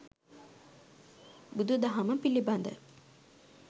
බුදු දහම පිළිබඳ